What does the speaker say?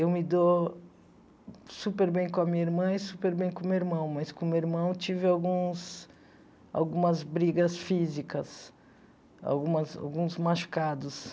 Eu me dou super bem com a minha irmã e super bem com o meu irmão, mas com o meu irmão tive alguns algumas brigas físicas, algumas alguns machucados.